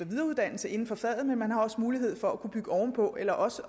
videreuddannelse inden for faget men man har også mulighed for at kunne bygge ovenpå eller også